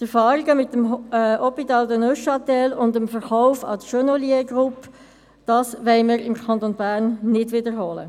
Die Erfahrungen mit dem Hôpital de Neuchâtel und dessen Verkauf an die Genolier-Gruppe wollen wir im Kanton Bern nicht wiederholen.